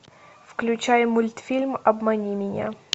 включай мультфильм обмани меня